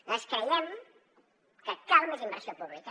nosaltres creiem que cal més inversió pública